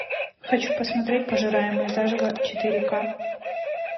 хочу посмотреть пожираемые заживо четыре ка